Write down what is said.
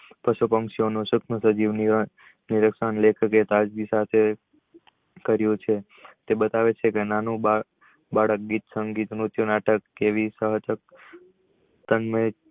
પશુ પંખી ઓ નો લેખકે કાળજી સાથે કરિયું છે તે બતાવે છે કે નાનું બાળક ગીત સંગીત નાટક કેવી